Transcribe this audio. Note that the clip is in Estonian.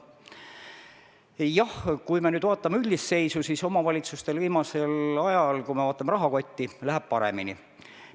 Jah, kui me nüüd vaatame üldist seisu, siis viimasel ajal – kui me vaatame rahakotti – läheb omavalitsustel paremini.